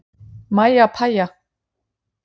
Mæja pæja.